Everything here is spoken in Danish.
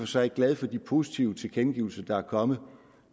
sig glad for de positive tilkendegivelser der er kommet